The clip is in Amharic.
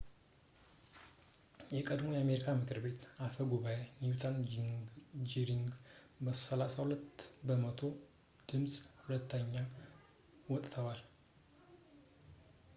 የቀድሞው የአሜሪካ የምክር ቤት አፈ ጉባኤ ኒውት ጂንግሪክ በ32 በመቶ ድምጽ ሁለተኛ ወጥቷል